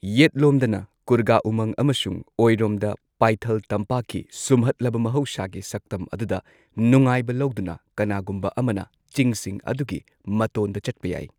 ꯌꯦꯠꯂꯣꯝꯗꯅ ꯀꯨꯔꯒ ꯎꯃꯪ ꯑꯃꯁꯨꯡ ꯑꯣꯏꯔꯣꯝꯗ ꯄꯥꯏꯊꯜ ꯇꯝꯄꯥꯛꯀꯤ ꯁꯨꯝꯍꯠꯂꯕ ꯃꯍꯧꯁꯥꯒꯤ ꯁꯛꯇꯝ ꯑꯗꯨꯗ ꯅꯨꯡꯉꯥꯏꯕ ꯂꯧꯗꯨꯅ ꯀꯅꯥꯒꯨꯝꯕ ꯑꯃꯅ ꯆꯤꯡꯁꯤꯡ ꯑꯗꯨꯒꯤ ꯃꯇꯣꯟꯗ ꯆꯠꯄ ꯌꯥꯏ꯫